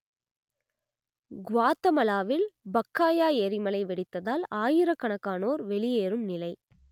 குவாத்தமலாவில் Pacaya எரிமலை வெடித்ததால் ஆயிரக்கணக்கானோர் வெளியேறும் நிலை